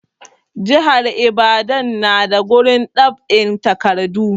Jihar ibadan na da gurin dab'in takadu